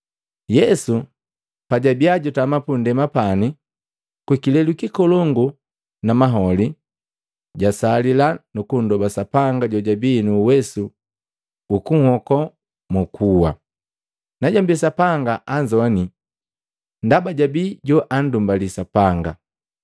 Yesu pajabii jutama pundema pani, kukilelu kikolongu na maholi, jasalila nukundoba Sapanga jojabii nu uwesu ukunhoko mu kuwa. Najombi Sapanga anzowani ndaba jwabi joandumbali Sapanga.